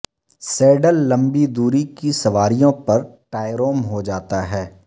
Siddle لمبی دوری کی سواریوں پر ٹائروم ہو جاتا ہے